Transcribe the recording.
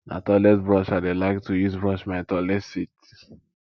na toilet brush i dey like to use brush my toilet seat